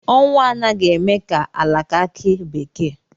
Ọnwụ anaghị eme ka alaka akị bekee